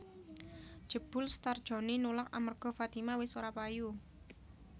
Jebul Star Joni nulak amerga Fatima wis ora payu